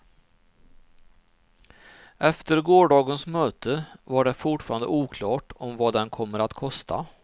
Efter gårdagens möte var det fortfarande oklart vad den kommer att kosta.